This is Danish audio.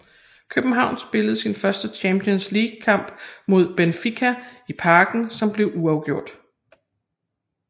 København spiller sin første Champions League kamp mod Benfica i Parken som bliver uafgjort